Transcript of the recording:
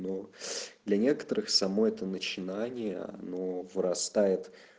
но для некоторых само это начинание оно вырастает